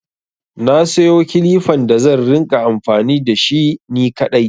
Na sayo kilifan da zan rinƙa amfani da shi ni kaɗai.